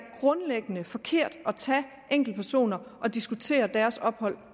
grundlæggende forkert at tage enkeltpersoner og diskutere deres ophold